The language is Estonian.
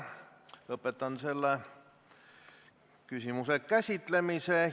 Lõpetan selle küsimuse käsitlemise.